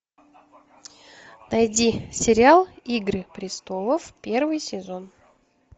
найди сериал игры престолов первый сезон